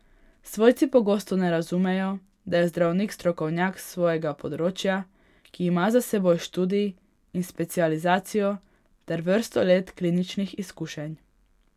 Svojci pogosto ne razumejo, da je zdravnik strokovnjak s svojega področja, ki ima za seboj študij in specializacijo ter vrsto let kliničnih izkušenj.